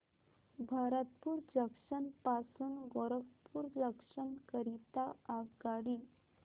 Bharatpur junction पासून Gorakhpur junction करीता आगगाडी